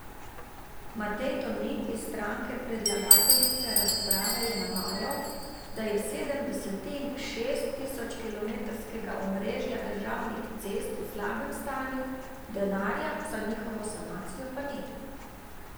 Matej Tonin iz stranke predlagateljice razprave je navajal, da je sedem desetin šest tisočkilometrskega omrežja državnih cest v slabem stanju, denarja za njihovo sanacijo pa ni.